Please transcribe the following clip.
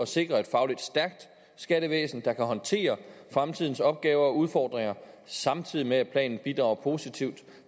sikre et fagligt stærkt skattevæsen der kan håndtere fremtidens opgaver og udfordringer samtidig med at planen bidrager positivt